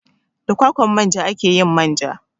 Da kwakwan manja ake yin manja.